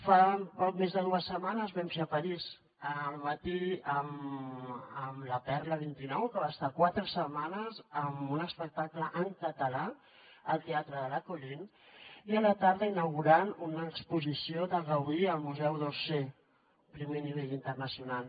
fa poc més de dues setmanes vam ser a parís al matí amb la perla vint nou que va estar quatre setmanes amb un espectacle en català al teatre de la colline i a la tarda inaugurant una exposició de gaudí al museu d’orsay primer nivell internacional